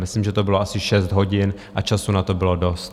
Myslím, že to bylo asi šest hodin a času na to bylo dost.